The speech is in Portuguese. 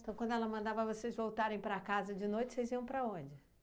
Então, quando ela mandava vocês voltarem para casa de noite, vocês iam para onde?